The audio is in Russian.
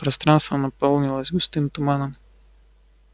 пространство наполнилось густым туманом